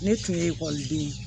Ne tun ye den ye